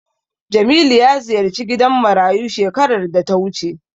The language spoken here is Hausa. Jamilu ya ziyarci gidan marayu shekarar da ta wuce.